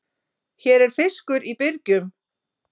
Hér er fiskur í byrgjum.